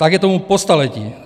Tak je tomu po staletí.